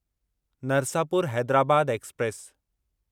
Narsapur Hyderabad express